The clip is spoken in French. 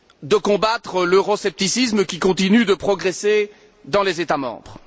de combattre l'euroscepticisme qui continue de progresser dans les États membres.